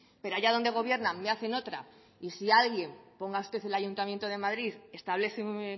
pero allá donde gobiernan me hacen otra y si alguien ponga usted el ayuntamiento de madrid establece un